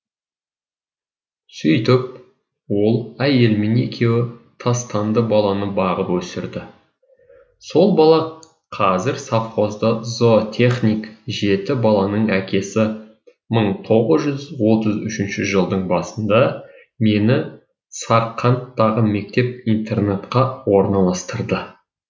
сөйтіп ол әйелімен екеуі тастанды баланы бағып өсірді сол бала қазір совхозда зоотехник жеті баланың әкесі мың тоғыз жүз отыз үшінші жылдың басында мені сарқанттағы мектеп интернатқа орналастырды